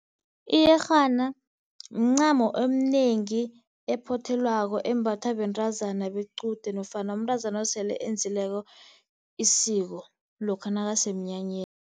Iyerhana mincamo eminengi ephothelwako embathwa bentazana bequde nofana umntazana osele enzileko isiko lokha nakasemnyanyeni.